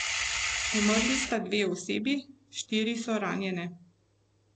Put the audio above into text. Umrli sta dve osebi, štiri so ranjene.